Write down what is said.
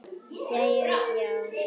Jæja já?